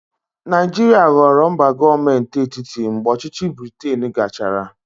Naijiria ghọrọ mba gọọmenti etiti mgbe ọchịchị Briten gachara.